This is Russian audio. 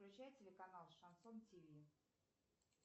включай телеканал шансон тв